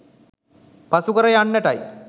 පසුකර යන්නටයි.